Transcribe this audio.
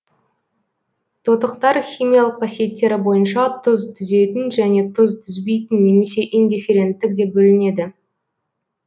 тотықтар химиялық қасиеттері бойынша тұз түзетін және тұз түзбейтін немесе индифференттік деп бөлінеді